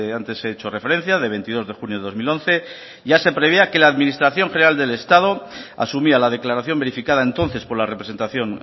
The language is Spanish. antes he hecho referencia de veintidós de junio de dos mil once ya se preveía que la administración general del estado asumía la declaración verificada entonces por la representación